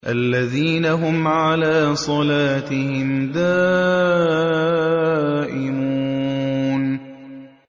الَّذِينَ هُمْ عَلَىٰ صَلَاتِهِمْ دَائِمُونَ